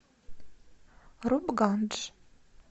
рупгандж